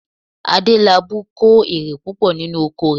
Adélabú kó èrè púpọ̀ nínú oko rẹ̀